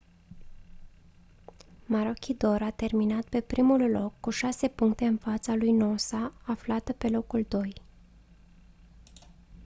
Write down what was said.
maroochydore a terminat pe primul loc cu șase puncte în fața lui noosa aflată pe locul doi